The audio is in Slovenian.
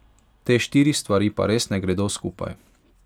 Te štiri stvari pa res ne gredo skupaj.